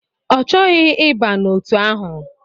Ọ chọghị ịba n'otu ahụ.